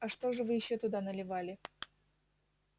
а что же вы ещё туда наливали